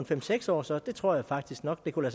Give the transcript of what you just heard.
fem seks år så det tror jeg faktisk nok kunne